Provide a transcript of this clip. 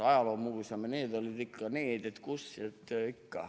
Ajaloomuuseum ja sellised olid need, kus ikka.